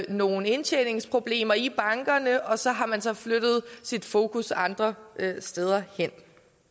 nogle indtjeningsproblemer i bankerne og så har man så flyttet sit fokus andre steder hen